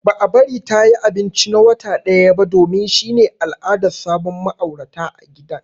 Ba a bari ta yi abinci na wata daya ba domin shi ne al'adar sabon ma'aurata ã gidan.